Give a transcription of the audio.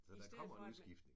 Så der kommer en udskiftning